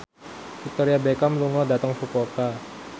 Victoria Beckham lunga dhateng Fukuoka